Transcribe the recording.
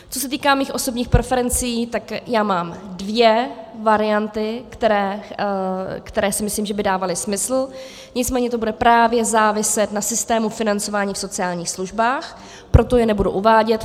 Co se týká mých osobních preferencí, tak já mám dvě varianty, které si myslím, že by dávaly smysl, nicméně to bude právě záviset na systému financování v sociálních službách, proto je nebudu uvádět.